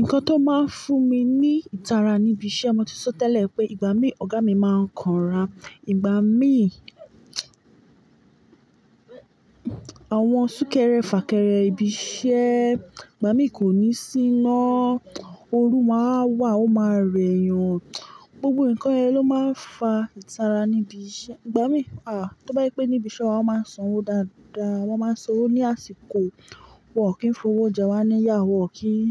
Nǹkan tó máa ń fún mi ní ìtara níbi iṣẹ́, mo ti sọ tẹ́lẹ̀ pé ìgbà mí ọ̀gá mi máa ń kanra. Ìgbà mí, àwọn súnkẹrẹ fàkẹrẹ ibi iṣẹ́, ìgbà mí kò ní síná, ooru máwa wà, ó máa rẹyan, gbogbo nǹkan yẹn lọ máa ń fa ìtara níbi iṣẹ́. Ìgbà mí, tó bá je pé níbi iṣẹ́ wa máa ń sanwó dáadáa, wọ́n máa sanwó ní àsìkò, wọ́n kì í fowó jẹ wá níyà, wọ́n kìi í,